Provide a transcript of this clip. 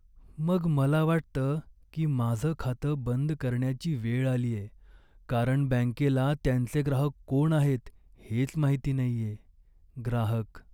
मग मला वाटतं की माझं खातं बंद करण्याची वेळ आलीये, कारण बँकेला त्यांचे ग्राहक कोण आहेत हेच माहित नाहीये. ग्राहक